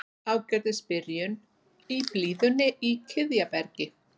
Ágætis byrjun í blíðunni í Kiðjabergi